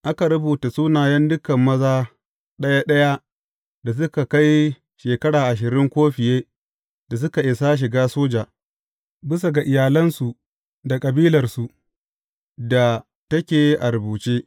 Aka rubuta sunayen dukan maza ɗaya ɗaya da suka kai shekara ashirin ko fiye da suka isa shiga soja, bisa ga iyalansu da kabilarsu da take a rubuce.